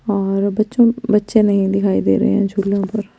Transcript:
और बच्चो बच्चे नही दिखाई देरे है जुलो पर--